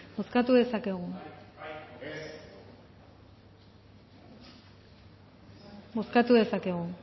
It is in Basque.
bozkatu dezakegu